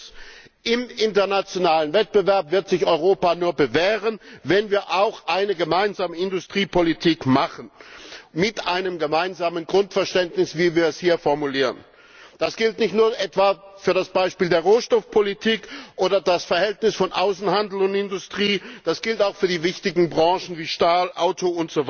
Erstens Im internationalen Wettbewerb wird sich Europa nur bewähren, wenn wir auch eine gemeinsame Industriepolitik machen mit einem gemeinsamen Grundverständnis, wie wir es hier formulieren. Das gilt nicht nur etwa für die Rohstoffpolitik oder das Verhältnis von Außenhandel und Industrie, das gilt auch für die wichtigen Branchen wie Stahl, Auto